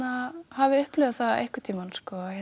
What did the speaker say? hafi upplifað það einhvern tímann